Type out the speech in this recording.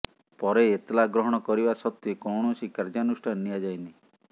ପରେ ଏତଲା ଗ୍ରହଣ କରିବା ସତ୍ୱେ କୌଣସି କାର୍ଯ୍ୟାନୁଷ୍ଠାନ ନିଆଯାଇନି